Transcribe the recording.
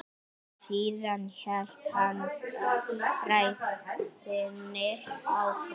Síðan hélt hann ræðunni áfram